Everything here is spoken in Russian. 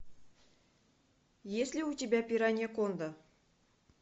есть ли у тебя пираньяконда